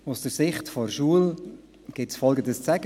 Aus der Sicht der Schule gibt es Folgendes zu sagen: